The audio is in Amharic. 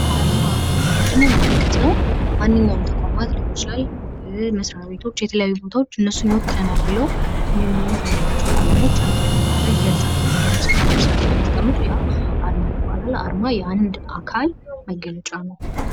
አርማ ምንለው ምንድነው ምልክት ነው ማንኛውም ተቋማት ሊሆን ይችላል መስሪያ ቤቶች የተለያዩ ቦታዎች እነሱን ይወክለናል ብለው የሚፈልጓቸውን ቀለሞች አንድ ላይ በማድረግ ይገልፀናል የሚሉትን ነገሮች ሰርተው ሲያስቀምጡ ያ አርማ ይባላል። አርማ የአንድ አካል መገለጫ ነው።